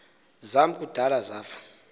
zam kudala zafa